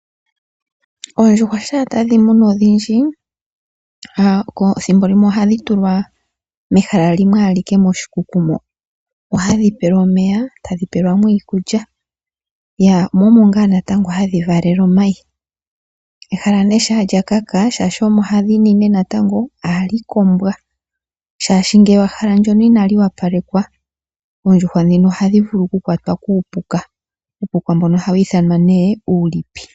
Oondjuhwa shampa tadhi munwa odhindji thimbo limwe ohadhi tulwa mehala limwe ashike moshikuku mo. Hu hadhi pelwa omeya, tadhi pelwa mo iikulya. Yah mo omo ngaa natango hadhi valele omayi. Ehala nee shaa lyakaka shaashi omo hadhi nine natango ohali kombwa, shaashi ngele ehala ndyono inali wapalekwa oondjuhwa dhino ohadhi vulu oku kwatwa kuupuka. Uupuka mbuno hawu ithanwa nee uulipi.